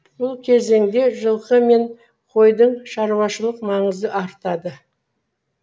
бұл кезенде жылқы мен койдың шаруашылық маңызы артады